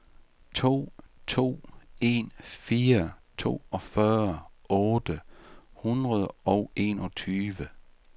to to en fire toogfyrre otte hundrede og enogtyve